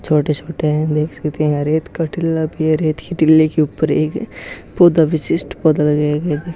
छोटे-छोटे है देख सकते है रेत का टीला भी है रेत की टीले के ऊपर एक पौधा विशिष्ट पौधा लगाया गया था।